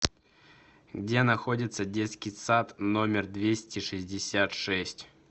где находится детский сад номер двести шестьдесят шесть